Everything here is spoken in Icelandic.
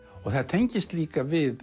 það tengist líka við